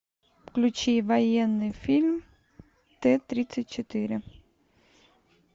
включи военный фильм т тридцать четыре